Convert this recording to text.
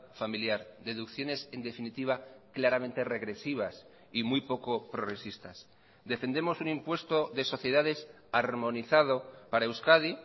familiar deducciones en definitiva claramente regresivas y muy poco progresistas defendemos un impuesto de sociedades armonizado para euskadi